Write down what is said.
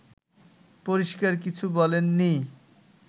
পরিষ্কার কিছু বলেননি